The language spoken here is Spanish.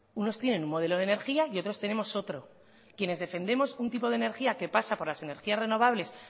unos tienen un modelo de energía y otros tenemos otro quienes defendemos un tipo de energía que pasa por las energías renovables